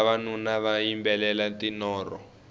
vavanuna va yimbelela tinoro